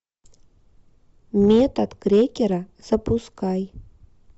метод крекера запускай